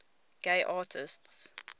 gay artists